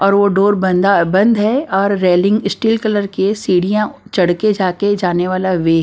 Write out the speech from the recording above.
और वो डोर बंदा बंद है और रेलिंग स्टील कलर के सीढ़ियां चढ़ के जाके जाने वाला वे --